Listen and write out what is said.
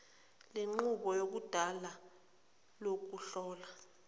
lenqubo yakudala lokuhlola